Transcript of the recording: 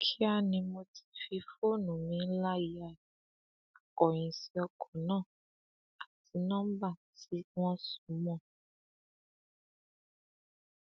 kíá ni mo ti fi fóònù mi ńlá ya akóyíǹsì ọkọ náà àti nọmba tí wọn sọ mọ ọn